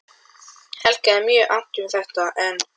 Hitt augað var óbreytt einsog eilíflega, blint og starandi.